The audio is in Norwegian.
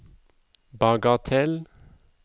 bagatell